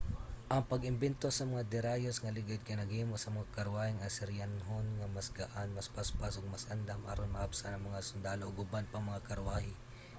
ana pag-imbento sa mga derayos nga ligid kay naghimo sa mga karwaheng asiryanhon nga mas gaan mas paspas ug mas andam aron maapsan ang mga sundalo ug uban pang mga karwahe